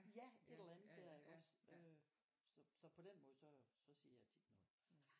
Ja et eller andet der iggås øh så så på den måde så så siger jeg tit noget